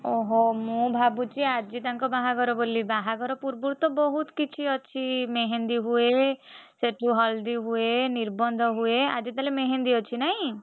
ଓହୋ ମୁଁ ଭାବୁଛି ଆଜି ତାଙ୍କ ବାହାଘର ବୋଲି ବାହାଘର ପୂର୍ବରୁ ତ ବହୁତ୍ କିଛି ଅଛି ମେହେନ୍ଦୀ ହୁଏ, ସେଠୁ ହଳଦୀ ହୁଏ, ନିର୍ବନ୍ଧ ହୁଏ। ଆଜି ତାହେଲେ ମେହେନ୍ଦୀ ଅଛି ନାଇଁ?